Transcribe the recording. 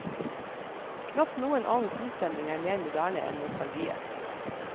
Knapt noen annen sinnsstemning er mer moderne enn nostalgien.